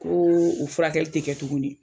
Koo o furakɛli te kɛ tuguni